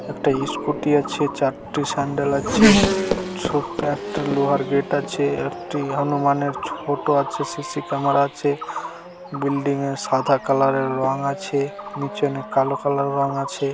একটা ইস্কুটি আছে চারটে স্যান্ডেল আছে ছোট্ট একটা লোহার গেট আছে একটি হনুমান এর ছোট আছে সি. সি. ক্যামেরা আছে বিল্ডিং এ সাদা কালার এর রং আছে নিচে অনেক কালো কালার রং আছে।